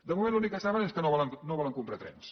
de moment l’únic que saben és que no volen comprar trens